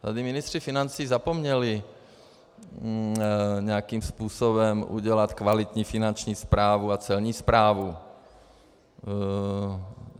Tady ministři financí zapomněli nějakým způsobem udělat kvalitní finanční správu a celní správu.